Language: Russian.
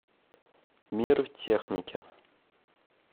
мир техники